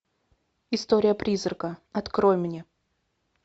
история призрака открой мне